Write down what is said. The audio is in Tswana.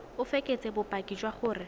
o fekese bopaki jwa gore